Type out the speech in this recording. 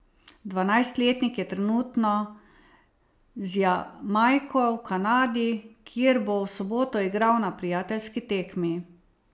Dvajsetletnik je trenutno z Jamajko v Kanadi, kjer bo v soboto igral na prijateljski tekmi.